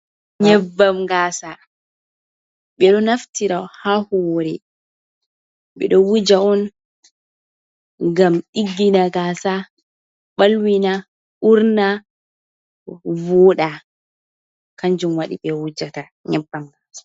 Nyebbam gasa ɓe ɗo naftira ha hore. Ɓe ɗo wuja on ngam ɗiggina gasa ɓalwina urna voɗa kanjum waɗi be wujata nyebbam gasa.